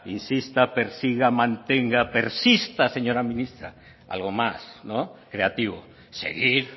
insista persiga mantenga persista señora ministra algo más no creativo seguir